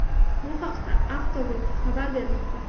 Bu haqda Autoweek xabar bermoqda.